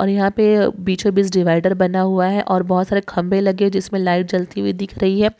और यहा पे बिच्छों बिच्छ डिवायडर बना हुआ है और बहुत सारे खंबे लगे जिसमे लाईट्स जलती हुई दिख रही है।